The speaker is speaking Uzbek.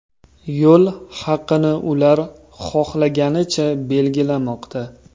Yo‘l haqini ular xohlaganicha belgilamoqda.